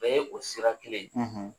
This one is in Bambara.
Bɛɛ ye o sira kelen,